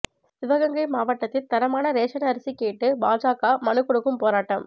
சிவகங்கை மாவட்டத்தில் தரமான ரேஷன் அரிசி கேட்டு பாஜக மனுக்கொடுக்கும் போராட்டம்